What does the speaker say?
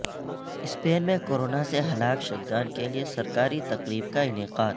Spain میں corona سے ہلاک شدگان کیلئے سرکاری تقریب کا انعقاد